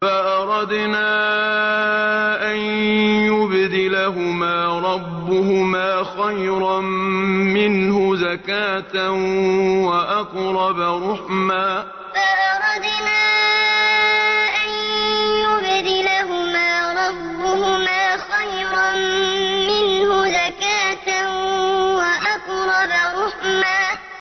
فَأَرَدْنَا أَن يُبْدِلَهُمَا رَبُّهُمَا خَيْرًا مِّنْهُ زَكَاةً وَأَقْرَبَ رُحْمًا فَأَرَدْنَا أَن يُبْدِلَهُمَا رَبُّهُمَا خَيْرًا مِّنْهُ زَكَاةً وَأَقْرَبَ رُحْمًا